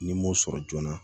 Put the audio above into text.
Ni n m'o sɔrɔ joona